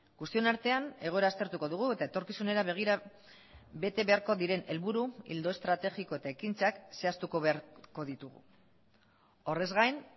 guztion artean egoera aztertuko dugu eta etorkizunera begira bete beharko diren helburu ildo estrategiko eta ekintzak zehaztuko beharko ditugu horrez gain